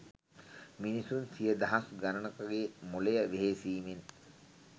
මිනිසුන් සිය දහස් ගණනකගේ මොලය වෙහෙසීමෙන්